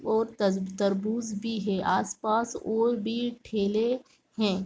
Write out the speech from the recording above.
और तर तरबूज भी है आसपास और भी ठेले हैं।